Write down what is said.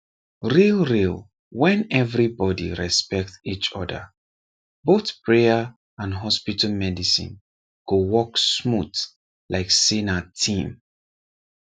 real real when everybody respect each other both prayer and hospital medicine go work smooth like say na team